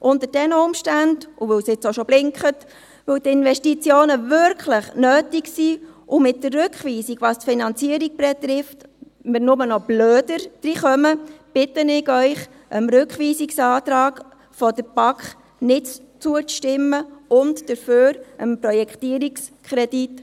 Unter diesen Umständen – und weil es jetzt schon blinkt –, weil die Investitionen nötig sind und weil wir mit der Rückweisung, was die Finanzierung betrifft, nur noch in eine dümmere Lage geraten, bitte ich Sie, dem Rückweisungsantrag der BaK nicht zuzustimmen, dafür aber dem Projektierungskredit.